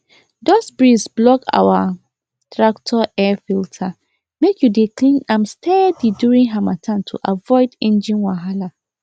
dust breeze block our tractor air filter make you dey clean am steady during harmattan to avoid engine wahala